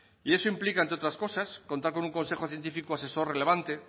y eso implica entre otras cosas contar con un consejo científico asesor relevante